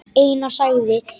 Einar þagði.